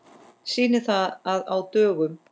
Sýnir það að á dögum